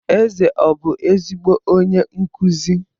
Eze ọbụ ezigbo onye nkụzi?